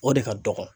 O de ka dɔgɔn